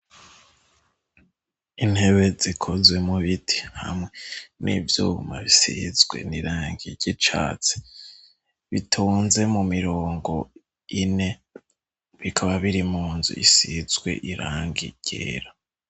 Intebe zikozwe mubiti hamwe n'ivyuma bisizwe n'irangi ry'icatsi, bitonze mu mirongo ine bikaba biri mu nzu isizwe irangi ryera.